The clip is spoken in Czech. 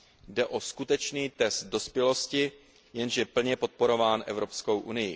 Jde o skutečný test dospělosti, jenž je plně podporován EU.